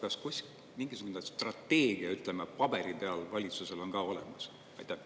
Kas valitsusel kuskil mingisugune strateegia, ütleme, paberi peal on ka olemas?